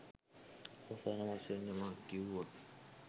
අවසාන වශයෙන් යමක් කීවොත්